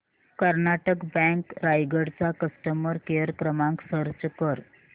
Karnataka bank Raigad चा customer care क्रमांक search कर